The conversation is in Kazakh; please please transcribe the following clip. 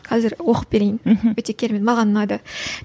қазір оқып берейін мхм өте керемет маған ұнады